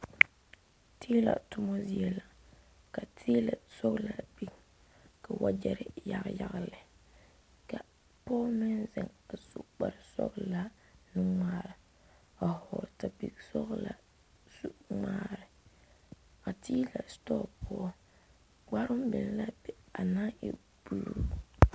Tilɛ tuma zie la ka tilɛ sɔglaa biŋ ka wagye yagle yagle ka pɔge meŋ zeŋ a su kpare sɔglaa nuŋmare ka sapele sɔglaa su ŋmaare a tilɛ sitoɔ poɔ kpare mine naŋ e buluu.